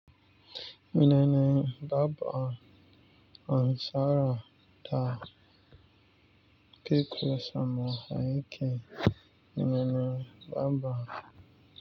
Menene Baba ansara da keke sama aiki? Menene Baba.